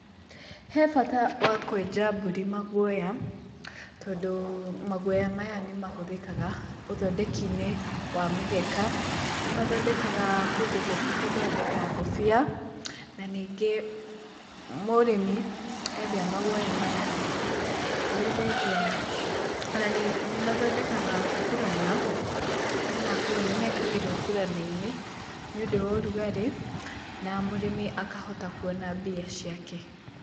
He bata wa kwenja mbũri maguoya, tondũ maguoya maya nĩmahũthĩkaga ũthondeki-inĩ wa mĩgeka, nĩmathondekaga kũndũ kũngĩ gũthondeka ngũbia, na ningĩ mũrĩmi endia maguoya maya, nĩendagia nĩmathondekaga burana kana nguo, nĩmekagĩrwo burana-inĩ nĩũndũ wa ũrugarĩ na mũrĩmi akahota kuona mbia ciake.